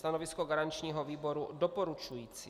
Stanovisko garančního výboru doporučující.